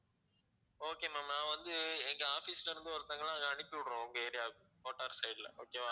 okay ma'am நான் வந்து எங்க office ல இருந்து ஒருத்தவங்கள அங்க அனுப்பி விடுறோம் உங்க area க்கு கோட்டார் side ல okay வா